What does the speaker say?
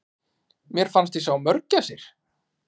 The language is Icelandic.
Mér fannst ég sjá mörgæsir!